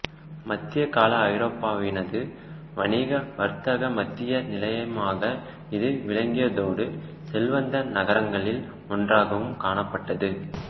மத்திய கால ஐரோப்பாவினது வணிக வர்த்தக மத்திய நிலையமாக இது விளங்கியதோடு செல்வந்த நகரங்களில் ஒன்றாகவும் காணப்பட்டது